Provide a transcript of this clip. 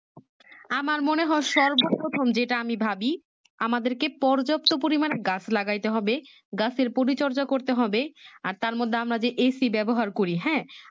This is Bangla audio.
আমার মনে হয় যে সর্ব প্রথম যেটা আমি ভাবি আমাদেরকে পর্যাপাতো পরিমানে গাছ লাগাইতে হবে গাছের পরিচর্যা করতে হবে আর তার মধ্যে আমরা যে AC ব্যবহার করি হ্যাঁ